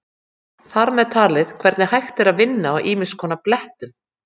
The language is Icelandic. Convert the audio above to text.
Þar með talið hvernig hægt er að vinna á ýmiss konar blettum.